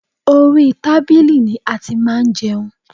Orí tábìlì ni a ti máa ń jẹun